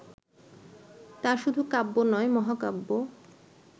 তা শুধু কাব্য নয়, মহাকাব্য